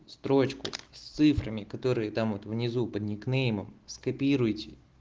строчку с цифрами которые там вот внизу под никнеймом скопируйте